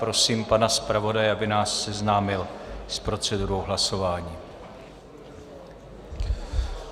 Prosím pana zpravodaje, aby nás seznámil s procedurou hlasování.